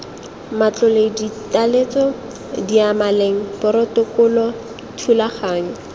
matlole ditaletso diyamaleng porotokolo thulaganyo